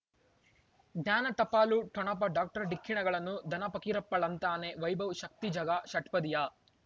ಜ್ಞಾನ ಟಪಾಲು ಠೊಣಪ ಡಾಕ್ಟರ್ ಢಿಕ್ಕಿ ಣಗಳನು ಧನ ಫಕೀರಪ್ಪ ಳಂತಾನೆ ವೈಭವ್ ಶಕ್ತಿ ಝಗಾ ಷಟ್ಪದಿಯ